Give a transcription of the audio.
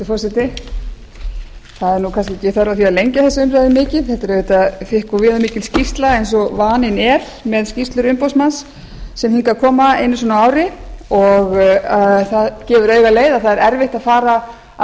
nú kannski ekki þörf á að lengja þessa umræðu mikið þetta er auðvitað þykk og viðamikil skýrsla eins og vaninn er með skýrslur umboðsmanns sem hingað koma einu sinni á ári það gefur auga leið að það er erfitt að fara af